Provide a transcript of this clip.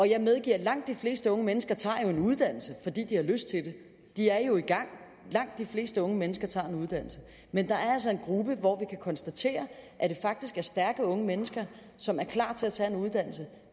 jeg medgiver at langt de fleste unge mennesker tager en uddannelse fordi de har lyst til det de er jo i gang langt de fleste unge mennesker tager en uddannelse men der er altså en gruppe hvor vi kan konstatere at det faktisk er stærke unge mennesker som er klar til at tage en uddannelse